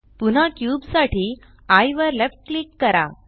पुन्हा क्यूब साठी एये वर लेफ्ट क्लिक करा